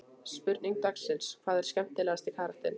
Spurning dagsins: Hver er skemmtilegasti karakterinn?